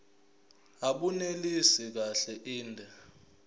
abunelisi kahle inde